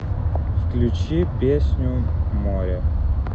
включи песню море